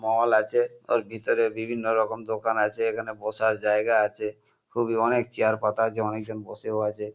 মল আছে। ওর ভিতরে বিভিন্ন রকম দোকান আছে। এখানে বসার জায়গা আছে। খুবই অনেক চেয়ার পাতা আছে। অনেকজন বসেও আছে।